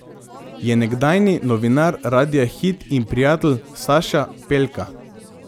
Je nekdanji novinar Radia Hit in prijatelj Saša Pelka.